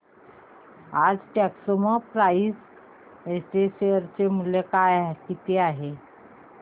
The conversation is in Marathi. आज टेक्स्मोपाइप्स चे शेअर मूल्य किती आहे